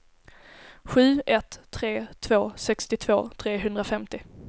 sju ett tre två sextiotvå trehundrafemtio